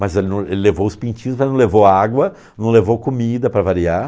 Mas ele não ele levou os pintinhos, mas não levou água, não levou comida, para variar.